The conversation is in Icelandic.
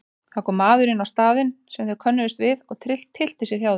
Það kom maður inn á staðinn sem þeir könnuðust við og tyllti sér hjá þeim.